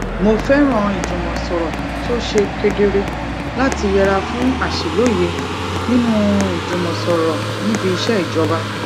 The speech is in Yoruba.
mo fẹràn ìjùmọsọrọ tó ṣe kedere láti yẹra fún àṣìlóye nínú ìjùmọsọrọ níbi iṣẹ ìjọba